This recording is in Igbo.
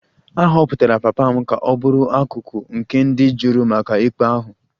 A họpụtara papa m ka ọ bụrụ akụkụ nke ndị juri maka ikpe ahụ